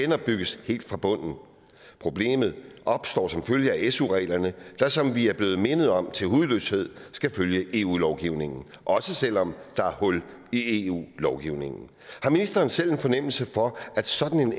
genopbygges helt fra bunden problemet opstår som følge af su reglerne der som vi er blevet mindet om til hudløshed skal følge eu lovgivningen også selv om der er hul i eu lovgivningen har ministeren selv en fornemmelse for at sådan